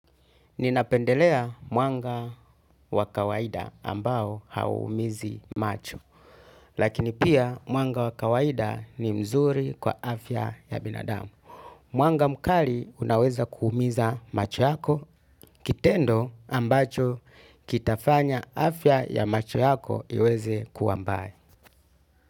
Ninapendelea mwanga wa kawaida ambao hauumizi macho, lakini pia mwanga wa kawaida ni mzuri kwa afya ya binadamu. Mwanga mkali unaweza kuumiza macho yako, kitendo ambacho kitafanya afya ya macho yako iweze kuwa mbaya.